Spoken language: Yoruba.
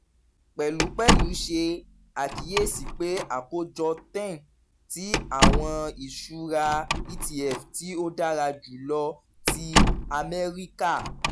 pẹlupẹlu ṣe akiyesi pe akojọ 10 ti awọn iṣura etf ti o dara julọ ti amẹrika